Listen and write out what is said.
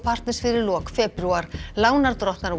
partners fyrir lok febrúar lánardrottnar